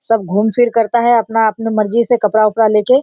सब घूम फिर करता है अपना-अपना मुर्जी से कपड़ा-उपड़ा लेके।